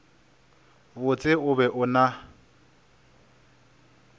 botse o be o na